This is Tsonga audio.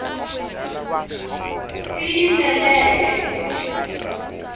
tiyimeleke